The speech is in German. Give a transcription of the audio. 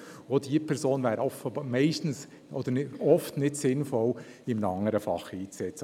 Auch diese Person wäre oft nicht sinnvoll in einem anderen Fach einzusetzen.